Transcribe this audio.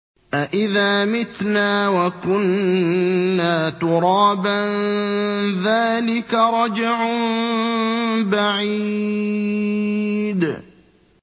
أَإِذَا مِتْنَا وَكُنَّا تُرَابًا ۖ ذَٰلِكَ رَجْعٌ بَعِيدٌ